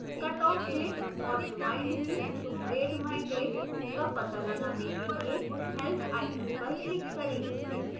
cutoff date और remind me to grade by date का पता लगाने के लिए help icon पर click करें